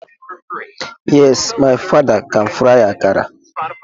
Yes, my father can fry akara.